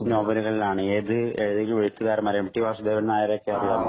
നോവലുകളിലാണ്. ഏതു ഏതെങ്കിലും എഴുത്തുകാരെ, എം ടി വാസുദേവന്‍‌ നായരെയൊക്കെ അറിയാമോ?